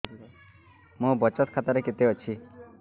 ମୋ ବଚତ ଖାତା ରେ କେତେ ଅଛି